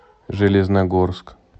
железногорск